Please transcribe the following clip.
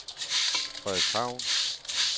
Frederikshavn